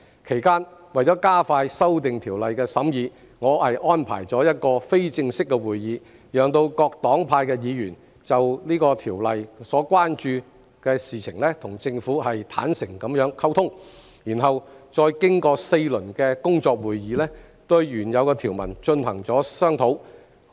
其間，為了加快《條例草案》的審議，我安排了一個非正式會議，讓各黨派議員就《條例草案》所關注的事情與政府坦誠溝通，然後再經過4輪工作會議，對原有條文進行商討。